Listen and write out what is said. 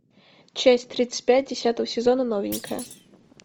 часть тридцать пять десятого сезона новенькая